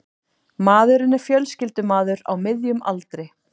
Maðurinn er fjölskyldumaður á miðjum aldri